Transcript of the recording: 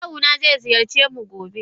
Kawuna ze ziyarcemu gobe.